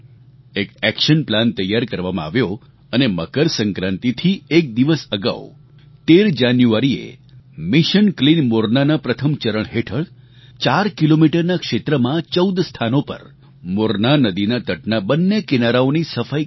એક action plan તૈયાર કરવામાં આવ્યો અને મકરસંક્રાંતિથી એક દિવસ અગાઉ ૧૩ જાન્યુઆરીએ મિશન ક્લીન મોરનાના પ્રથમ ચરણ હેઠળ ચાર કિલોમીટરના ક્ષેત્રમાં ચૌદ સ્થાનો પર મોરના નદીના તટના બંને કિનારાઓની સફાઈ કરવામાં આવી